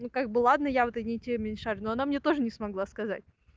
ну как бы ладно я в этой не теме не шарю но она мне тоже не смогла сказать